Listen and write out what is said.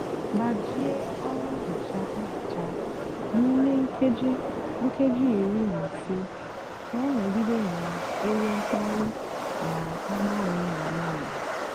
gbajie ọrụ nhicha nhicha n'ímé nkéjí nkéjí írí nà ísé kà ọ nọgide nà-ènwé mkpali nà agbanwéghí agbanwéghí.